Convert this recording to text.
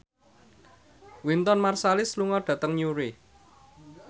Wynton Marsalis lunga dhateng Newry